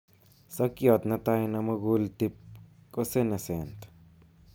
Sokyot netai nemukuul tip ko senescent